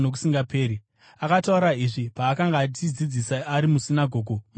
Akataura izvi paakanga achidzidzisa ari musinagoge muKapenaume.